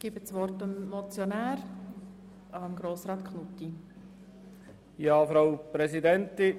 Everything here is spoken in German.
Ich erteile das Wort dem Motionär Grossrat Knutti.